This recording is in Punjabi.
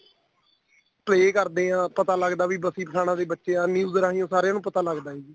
pray ਕਰਦੇ ਆ ਪਤਾ ਲੱਗਦਾ ਵੀ ਬਸੀ ਪਠਾਣਾ ਦੇ ਬੱਚੇ ਆ news ਰਹੀ ਸਾਰਿਆ ਨੂੰ ਪਤਾ ਲੱਗਦਾ ਜੀ